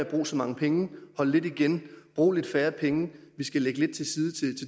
bruge så mange penge hold lidt igen og brug lidt færre penge vi skal lægge lidt til side til